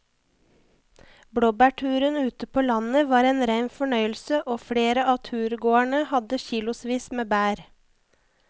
Blåbærturen ute på landet var en rein fornøyelse og flere av turgåerene hadde kilosvis med bær.